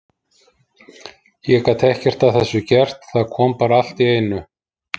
Ég gat ekkert að þessu gert, það kom bara allt í einu.